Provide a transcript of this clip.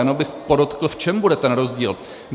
Jenom bych podotkl, v čem bude ten rozdíl.